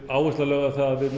áherslan á að við